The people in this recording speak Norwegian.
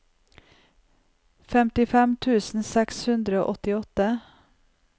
femtifem tusen seks hundre og åttiåtte